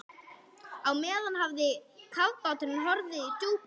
Á meðan hafði kafbáturinn horfið í djúpið.